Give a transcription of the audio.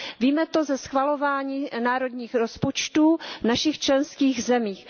Víme to ze schvalování národních rozpočtů v našich členských zemích.